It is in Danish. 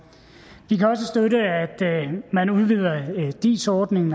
vi kan også støtte at man udvider dis ordningen